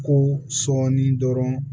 Ko sɔɔni dɔrɔn